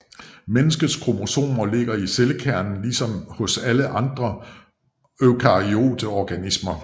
Menneskets kromosomer ligger i cellekernen ligesom hos alle andre eukaryote organismer